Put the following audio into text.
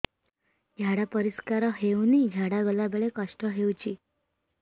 ଝାଡା ପରିସ୍କାର ହେଉନି ଝାଡ଼ା ଗଲା ବେଳେ କଷ୍ଟ ହେଉଚି